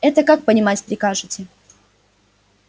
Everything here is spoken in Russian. это как понимать прикажете